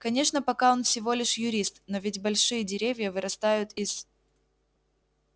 конечно пока он всего лишь юрист но ведь большие деревья вырастают из